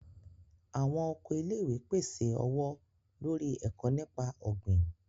Awọn oko ilé-ìwé pèsè ọwọ-lori eko nípa ogbin.